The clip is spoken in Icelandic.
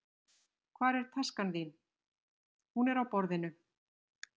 Hvar er taskan þín. Hún er á borðinu